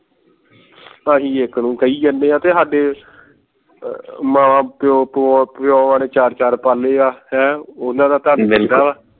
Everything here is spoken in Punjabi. ਅਸੀਂ ਇਕ ਨੂੰ ਕਹੀ ਜਾਣੇ ਹੈ ਤੇ ਸਾਡੇ ਮਾਂ ਪਿਉ ਪਿਉ ਪਿਉਆਂ ਨੇ ਚਾਰ ਚਾਰ ਪਾਲੇ ਹੈ ਹੈਂ ਉਹਨਾਂ ਦਾ ਤਾ ਨਹੀਂ ਬਿਲਕੁਲ